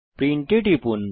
print এ টিপুন